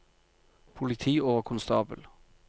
politioverkonstabel